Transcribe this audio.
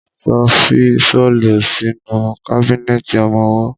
Ṣo fi ṣọ́lù sínú kábínẹ̀tì ọmọwọ́?